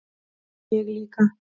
Ég líka